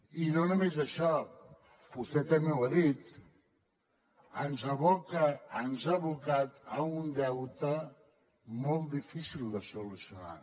i no només això vostè també ho ha dit ens aboca ens ha abocat a un deute molt difícil de solucionar